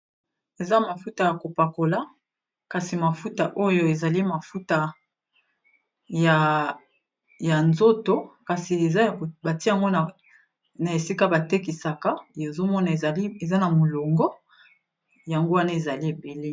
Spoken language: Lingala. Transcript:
Eza mafuta ya kopakola kasi mafuta oyo ezali mafuta ya nzoto kasi eza batie ngo na esika batekisaka ezomona eza na molongo yango wana ezali ebele.